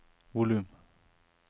volum